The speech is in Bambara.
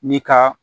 Ni ka